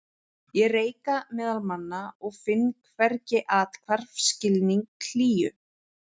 Ég reika meðal manna og finn hvergi athvarf, skilning, hlýju.